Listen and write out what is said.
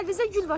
Əlinizdə gül var.